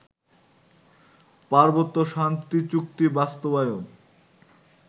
পার্বত্য শান্তিচুক্তি বাস্তবায়ন